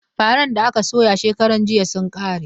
Faran da aka soya shekaran jiya sun ƙare.